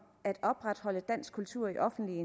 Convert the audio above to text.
at opretholde dansk kultur i offentlige